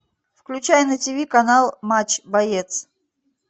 включай на ти ви канал матч боец